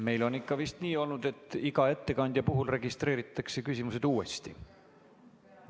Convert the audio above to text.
Meil on ikka vist nii olnud, et iga ettekandja puhul registreeritakse küsimused uuesti.